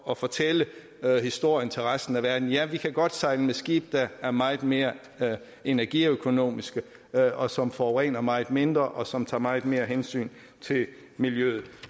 og fortælle historien til resten af verden ja vi kan godt sejle med skibe der er meget mere energiøkonomiske og som forurener meget mindre og som tager meget mere hensyn til miljøet